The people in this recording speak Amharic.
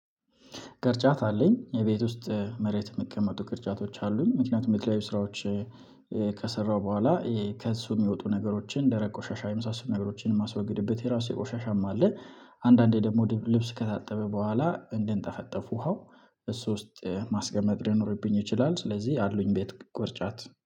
ቅርጫት አለኝ የቤት ውስጥ መሬት የምቀመጡ ቅርጫቶች አሉኝ ምክንያቱም የት ላይ ስራዎች ከሰራሁ በኋላ ከእሱ የሚወጡ ነገሮችን ደረቅ ቆሻሻ የምታስቡ ነገሮችን የማስወግድበት የራሱ የቆሻሻም አለ። አንዳንዴ ደግሞ ልብስ ከታጠበ በኋላ እንድንጠፈጠፉ ውሃው። እሱ ውስጥ ማስገመት ሊኖርብኝ ይችላል ስለዚህ አሉኝ ቤት ቁርጫት